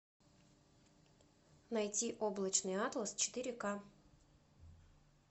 найти облачный атлас четыре ка